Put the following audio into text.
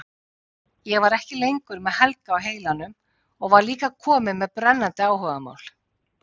Ég var ekki lengur með Helga á heilanum og var líka komin með brennandi áhugamál.